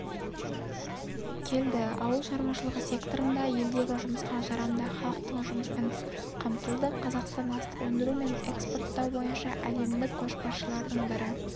келді ауыл шарушылығы секторында елдегі жұмысқа жарамды халықтың жұмыспен қамтылды қазақстан астық өндіру мен экспорттау бойынша әлемдік көшбасшылардың бірі